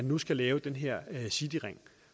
nu skal laves den her cityring